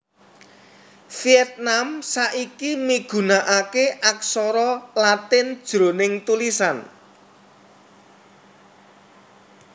Viètnam saiki migunakaké aksara Latin jroning tulisan